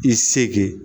I segi